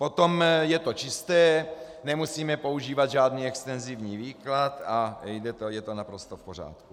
Potom je to čisté, nemusíme používat žádný extenzivní výklad a je to naprosto v pořádku.